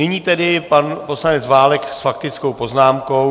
Nyní tedy pan poslanec Válek s faktickou poznámkou.